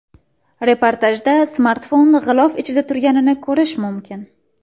Reportajda smartfon g‘ilof ichida turganini ko‘rish mumkin.